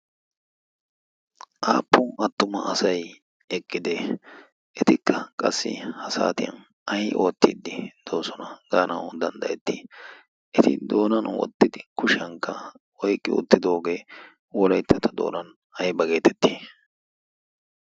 aappu attuma asai eqqide etikka qassi ha saatiyan ai oottiiddi doosona gaanau danddayettii eti doonan wottidi kushiyankka oiqqi uuttidoogee wolayttata doonan ai ba geetetti?